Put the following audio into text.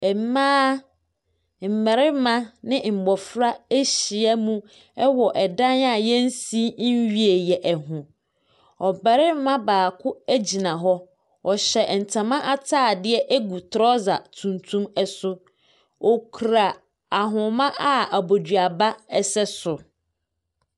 Ɛmaa mmɛrima ne mmɔfra ahyia mu ɛwɔ ɛdan a yɛnsi nwieyɛ ɛho, ɔbɛrima baako egyina hɔ, ɔhyɛ ntama ataadeɛ egu trɔsa tuntum ɛso. Ɔkura ahoma a aboduaba ɛsɛ so.